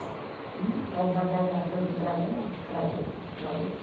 Eu levava uma coisa para outra, para outra, para outra.